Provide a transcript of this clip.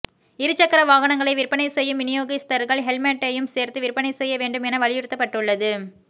இருசக்கர வாகனங்களை விற்பனை செய்யும் விநியோகிஸ்தர்கள் ஹெல்மெட்டையும் சேர்த்து விற்பனை செய்ய வேண்டும் என வலிறுத்தப்பட்டுள்ளது